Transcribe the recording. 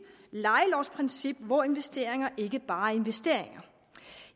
lejelovsprincip hvor investeringer ikke bare er investeringer